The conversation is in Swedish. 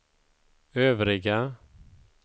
övriga